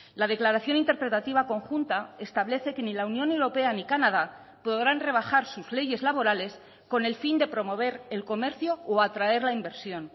la declaración interpretativa conjunta establece que ni la unión europea ni canadá podrán rebajar sus leyes laborales con el fin de promover el comercio o atraer la inversión